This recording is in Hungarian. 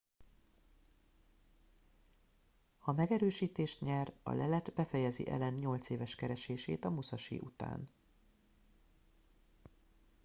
ha megerősítést nyer a lelet befejezi allen nyolc éves keresését a musashi után